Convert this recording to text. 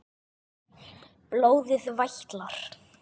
Blóðið vætlar.